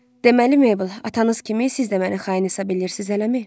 Deməli Meybl, atanız kimi siz də məni xain hesab eləyirsiz hələmi?